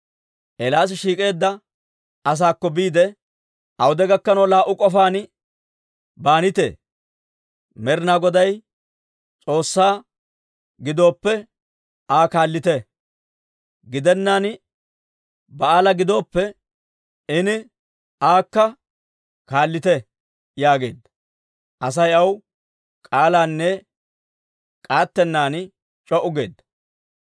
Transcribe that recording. Eelaasi shiik'eedda asaakko biide, «Awude gakkanaw laa"u k'ofaan baanitee? Med'inaa Goday S'oossaa gidooppe, Aa kaallite; gidennaan Ba'aala gidooppe, ini aakka kaallite» yaageedda. Asay aw k'aalanne k'aattennan c'oo'u geedda.